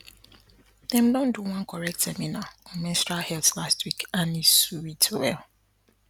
dem do one correct seminar on menstrual health last week and e sweet well